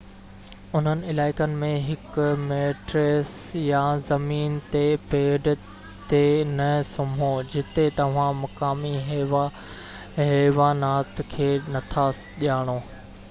انهن علائقن ۾ هڪ ميٽريس يا زمين تي پيڊ تي نه سمهو جتي توهان مقامي حيوانات کي نٿا ڄاڻو